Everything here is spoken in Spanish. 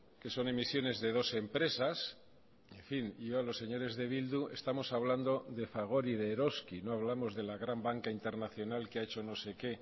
que son emisiones de dos empresas en fin yo a los señores de bildu estamos hablando de fagor y de eroski no hablamos de la gran banca internacional que ha hecho no sé qué